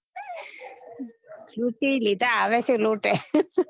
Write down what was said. શ્રુતી લીધા આવે છે લોટે